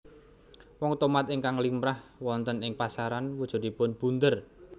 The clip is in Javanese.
Woh tomat ingkang limrah wonten ing pasaran wujudipun bunder